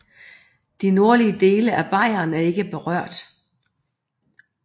De nordlige dele af Bayern blev ikke berørt